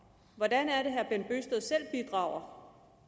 hvordan er det herre